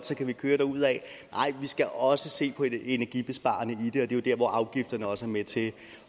så kan man køre derudad nej vi skal også se på det energibesparende i det og det er jo der hvor afgifterne også er med til